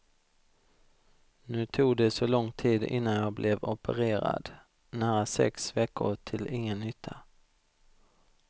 Nu tog det så lång tid innan jag blev opererad, nära sex veckor till ingen nytta.